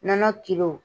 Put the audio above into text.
Nɔnɔ